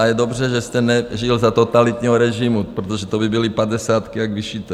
A je dobře, že jste nežil za totalitního režimu, protože to by byly padesátky jak vyšité.